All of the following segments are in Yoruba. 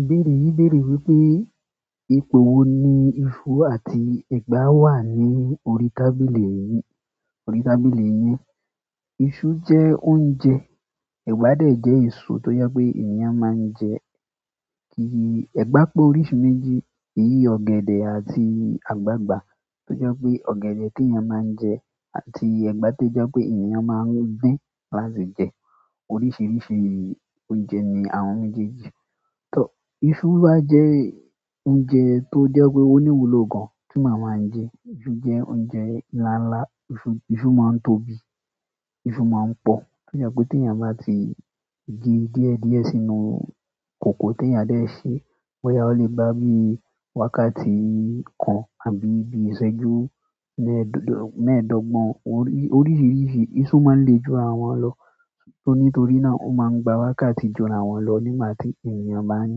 Ìbéèrè yi beere wípé ibo ni isu je oúnjẹ ewa de je eso to je pe eeyan maa je ẹ̀gbá pé oríṣi méjì, eyìí ọ̀gẹ̀dẹ̀ àti àgbagbà. Tó jẹ́ pé ọ̀gẹ̀dẹ̀ tí ènìyàn máa ń jẹ àti ẹ̀gbá tó jẹ́ pé èeyàn máa ń dín láti jẹ. Oríṣiríṣi oúnjẹ ni àwọn méjèèjì. Iṣu wá jẹ́ oúnjẹ tó jẹ́ pé ó ní ìwúlò gan, tí ma máa jẹ. To jẹ́ oúnjẹ ńlá ńlá, iṣu máa ń tóbi, iṣu máa ń pọ̀. Tó jẹ́ pé tí èeyàn bá ti ge díẹ̀ díẹ̀ sínú kòkó tí ènìyàn dẹ̀ ṣe, boyá o lè bá bíi wákàtí kan àbí bíi ìṣẹ́jú mẹ́ẹ́dọ́gbọ̀n. Oríṣiríṣi iṣu máa ń le ju rawọn lọ. Nítorí náà o máa ń gba wákàtí ju ràwọn lọ nígbà tí èeyàn bá ń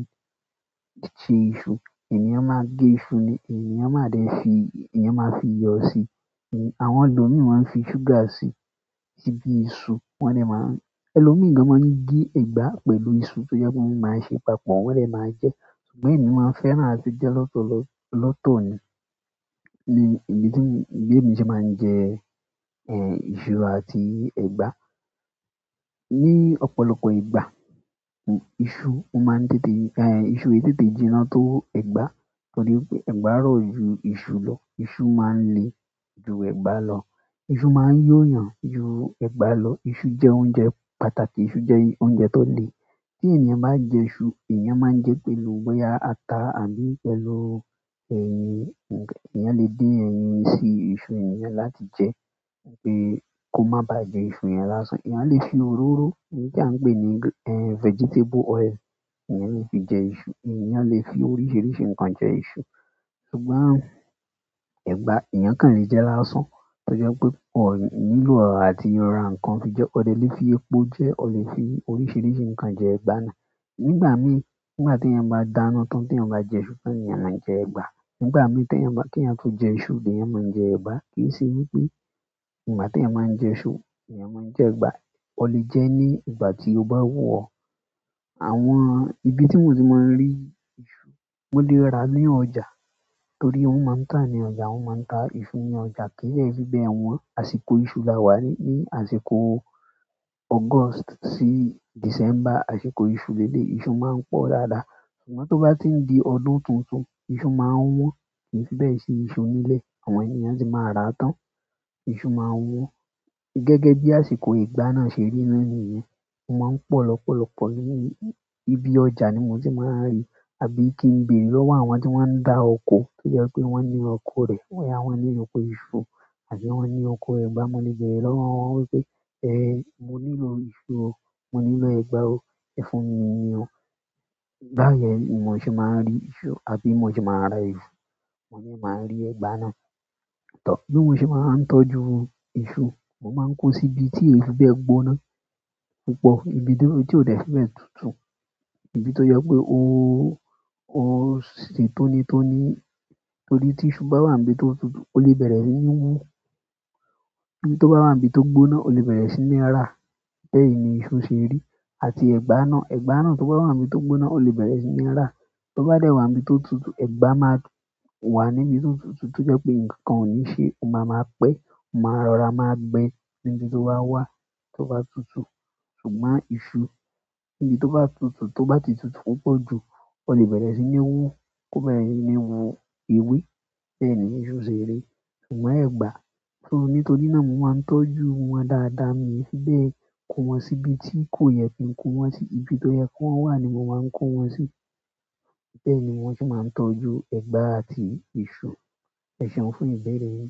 ṣe iṣu. Ènìyàn máa gé iṣu nì, èeyàn máa dẹ̀ fi, èeyàn máa fi iyọ́ síi. Àwọn elòmí máa ń fi ṣúgà síi, síbi iṣu wọ́n dẹ̀ máa ń. Ẹlòmíì gan máa ń gé igbá pẹ̀lú iṣu tó jẹ́ pé wọ́n máa ń ṣe papọ̀ wọ́n dẹ̀ máa jẹ́. Ṣùgbọ́n èmi máa fẹ́ràn àti jẹ́ lọ́tọ́ lọ, lọ́tọ́ ni, ní bi tí bi èmi ṣe máa ń jẹ iṣu àti igbá. Ni ọ̀pọ̀lọpọ̀ ìgbà, iṣu o máa ń tètè, iṣu o yí tètè jiná tó egbá, torí pé ẹ̀gbá rọ̀ ju iṣu lọ, iṣu máa ń le ju ẹ̀gbá lọ. Isu maa yo eeyan ju egba lo, isu je oúnjẹ pàtàkì, isu je oúnjẹ tole. Tí ènìyàn bá jẹ iṣu, ènìyàn máa ń jẹ́ pẹ̀lú bọ́yá ata àbí pẹ̀lú ẹyin. Eeyàn lè dín ẹyin sí iṣu yen gan láti jẹ. Pé kó má baà jẹ iṣu yẹn lásán. Èeyàn lè fi òróró èyí ti a npé ni vegetable oil, èeyàn lè fi jẹ iṣu. Èeyàn lè fi oríṣiríṣi nǹkan jẹ iṣu. Ṣùgbọ́n ẹ̀gbá ènìyàn kàn lè jẹ lásán. Tó jẹ́ pé wòn nílò àti ra nǹkan fi jẹ́. O de lè fi epo jẹ́, o lè fi oríṣiríṣi nǹkan jẹ ẹ̀gbá náà. Nígbà mí, nígbà tí èeyàn bá dáná tán tí èeyàn bá jẹ iṣu tán, nì eeyàn máa ń jẹ ẹ̀gbá. Nígbà mí tí èeyàn bá, kí ènìyàn tó jẹ iṣu, lèeyàn máa ń jẹ ẹ̀gbá. Kíì ṣe wípé ìgbà tí èeyàn máa ń jẹ iṣu, ni èeyàn máa ń jẹ ẹ̀gbá. O lè jẹ́ ní ìgbà tí o bá wù ọ́. Àwọn ibi tí mo ti máa ń rí iṣu, mo lè rà ní ọjà, torí wọ́n máa ń tàa ní ọjà, wọ́n máa ń ta iṣu ní ọjà. Kí de fí bẹ́ẹ̀ wan, àsìkò iṣu la wà yí, ní àsìkò August sí December, àsìkò iṣu leleyii, iṣu máa ń pọ̀ dáadáa. Ṣùgbọ́n to ba ti n di ọdún tuntun isu maa n wan. Kìí fíbẹ̀ sí iṣu nílẹ̀, àwọn ènìyàn tì máa ra tán. Iṣu máa wan. Gẹ́gẹ́ bí àsìkò ẹ̀gbá náà ṣe rí ná nìyẹn, ó máa ń pọ̀ lọ́pọ̀lọpọ̀ nínú ibi ọjà ni mo ti máa ń rí. Àbí kí n béèrè lọ́wọ́ àwọn tí wọ́n ń dá oko, tó jẹ́ pé wọ́n ní oko rẹ̀. Boyá wọ́n ní oko iṣu àbí wọ́n ní oko ẹ̀gbá, mo lè beerẹ́ lọ́wọ́ wọn wípé, mo nílò iṣu o, mo nílò ẹ̀gbá o, ẹ fún mi níi o. Báyen ni mò ṣe máa ń rí iṣu àbí mò ṣe máa ń rà iṣu, mo de máa ń rí ẹ̀gbá náà. Bí mo ṣe máa ń tọ́jú iṣu, mo máa ń kó sí ibi tí oyi fi bẹ́ gbóná púpọ̀. Ibi tí ó dẹ̀ fì bẹ́ tutù. Ibi tó jẹ́ pé ó, o se tóni tóní. Torí tí iṣu bá wà níbi tó tutù, o lè bẹ̀rẹ̀ sí ní hú. Bi tó bá wà níbi tó gbóná, o lè bẹ̀rẹ̀ sí ní rà. Bẹ́ẹ̀ ni iṣu ṣe rí. Àti ẹ̀gbá náà, ẹ̀gbá náà tó bá wà níbi tó gbóná, o lè bẹ̀rẹ̀ sí ní rà. Tó bá dẹ̀ wà níbi tó tutù, ẹ̀gbá máa wà níbi tó tutù tí ó jẹ́ pé nǹkankan ò ní ṣe, ó máa ma pẹ́, ó máa rọra, máa gbé níbi tó bá wà, tó bá tutù. Ṣùgbọ́n iṣu níbi tó bá tutù, tó bá ti tutù púpọ̀ jù, o lè bẹ̀rẹ̀ sí ní hú, kó bẹ̀rẹ̀ sí ní hú ewé. Bẹ́ẹ̀ ni iṣu ṣe rí. Ṣùgbọ́n ẹ̀gbá, nítorí náà mo máa ń tọ́jú wọn dáadáa mí yì fi bẹ́ẹ̀ kò wọ́n sí ibi tí kò yẹ kí n kó wọn sí, ibi tó yẹ ki wọ́n wà ni mo máa ń kó wọn sí. Bẹ́ẹ̀ ni wọ́n se máa ń tọ́jú ẹ̀gbá àti iṣu. Ẹ̀ṣeun fún ìbẹ̀rẹ̀ yìí.